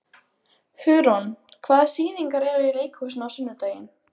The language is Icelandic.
Hugrún, hvaða sýningar eru í leikhúsinu á sunnudaginn?